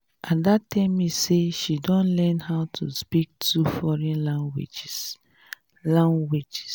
ada tell me say she don learn how to speak two foreign languages languages